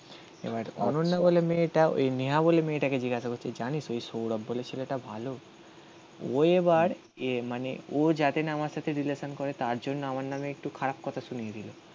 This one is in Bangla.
এবার অনন্যা বলে মেয়েটা ওই নেহা বলে মেয়েটাকে জিজ্ঞাসা করছে জানিস ওই সৌরভ বলে ছেলেটা ভালো. ও এবার এ মানে ও যাতে না আমার সাথে রিলেশান করে তার জন্য আমার নামে একটু খারাপ কথা শুনিয়ে দিল